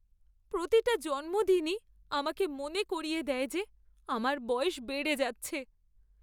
প্রতিটা জন্মদিনই আমাকে মনে করিয়ে দেয় যে আমার বয়স বেড়ে যাচ্ছে।